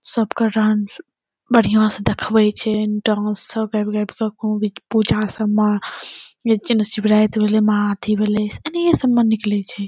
सबका डांस बढ़िया से देखबै छे। डांस सब पूजा सब मा एजेन शिवरात भैले महा अथी भेले सब निकलै छे।